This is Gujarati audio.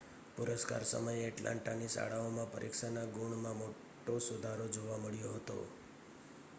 પુરસ્કાર સમયે એટલાન્ટાની શાળાઓમાં પરીક્ષાના ગુણમાં મોટો સુધારો જોવા મળ્યો હતો